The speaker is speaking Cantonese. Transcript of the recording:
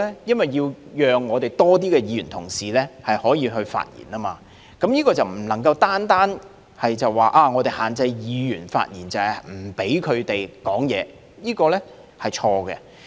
因為要讓更多議員可以發言，這點便不能單說限制議員發言，就是不讓他們發言，這是錯誤的。